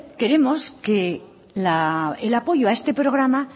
queremos que el apoyo a este programa